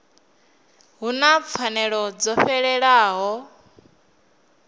hu na pfanelo dzo fhelelaho